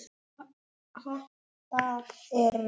Þessa hópar eru